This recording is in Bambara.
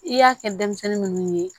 I y'a kɛ denmisɛnnin munnu ye